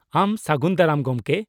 -ᱟᱢ ᱥᱟᱜᱩᱱ ᱫᱟᱨᱟᱢ , ᱜᱚᱢᱠᱮ ᱾